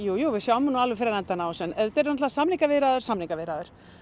og við sjáum alveg fyrir endann á þessu en auðvitað eru samningaviðræður samningaviðræður